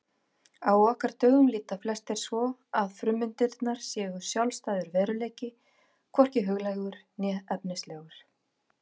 Á okkar dögum líta flestir svo að frummyndirnar séu sjálfstæður veruleiki, hvorki huglægur né efnislegur.